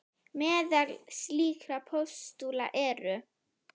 Meðal slíkra postula eru